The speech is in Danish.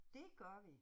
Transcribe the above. Det gør vi